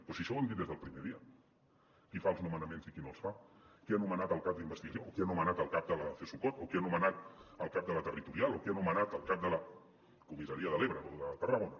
però si això ho hem dit des del primer dia qui fa els nomenaments i qui no els fa qui ha nomenat el cap d’investigació o qui ha nomenat el cap de la csucot o qui ha nomenat el cap de la territorial o qui ha nomenat el cap de la comissaria de l’ebre o de tarragona